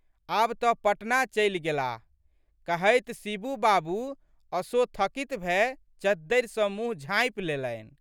आब तऽ पटना चलि गेलाह, कहैत शिबू बाबू असोथकित भए चद्दरि सँ मुँह झाँपि लेलनि।